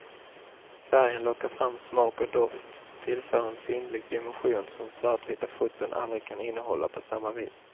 Färgen lockar fram smak och doft, tillför en sinnlig dimension som svartvita foton aldrig kan innehålla på samma vis.